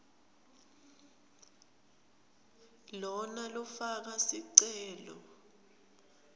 lona lofaka sicelo